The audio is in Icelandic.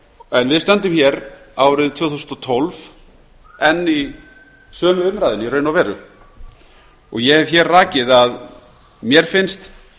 en við stöndum hér árið tvö þúsund og tólf enn í sömu umræðunni í raun og veru og ég hef rakið að mér finnst